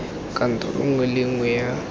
kantoro nngwe le nngwe ya